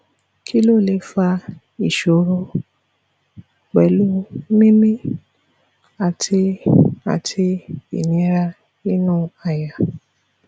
kí ló lè fa ìṣòro pleu mimi àti àti inira inú àyà